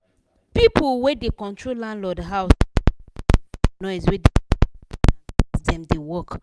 pipu wey da control landlord house no put mind for noise we da disturb ten ant as dem da work